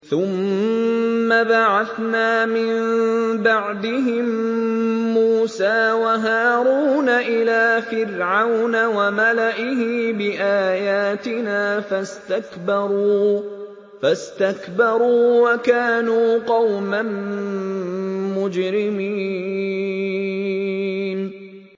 ثُمَّ بَعَثْنَا مِن بَعْدِهِم مُّوسَىٰ وَهَارُونَ إِلَىٰ فِرْعَوْنَ وَمَلَئِهِ بِآيَاتِنَا فَاسْتَكْبَرُوا وَكَانُوا قَوْمًا مُّجْرِمِينَ